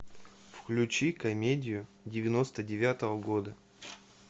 включи комедию девяносто девятого года